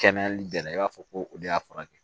Kɛnɛyali bɛɛ la i b'a fɔ ko o de y'a furakɛ